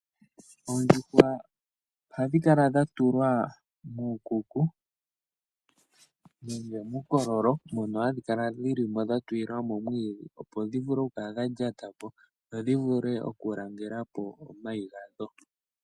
Oondjuhwa ohadhi kala dha tulwa kuukuku nenge kiikololo mono hadhi kala dha tuliwa mo iinima opo dhi kale dha lyata ko dho dhi vule okulangelako omayi gadho